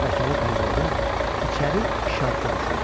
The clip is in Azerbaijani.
Şəbəkəli pəncərədən içəri işartı düşürdü.